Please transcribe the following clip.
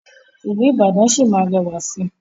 ilú Ìbàdàn sí má rẹwà sí.